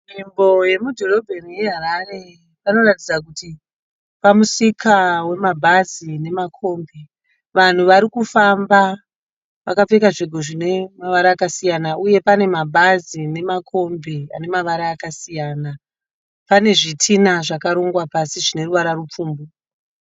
Nzvimbo yemudhorobheni yeHarare panoratidza kuti pamusika wemabhazi nemakombi vanhu vari kufamba vakapfeka zvine mavara akasiyana uye pane mabhazi nemakombi ane mavara akasiyana pane zvitina zvakarongwa pasi zvine ruvara rupfumbu.